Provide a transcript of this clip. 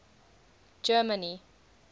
germany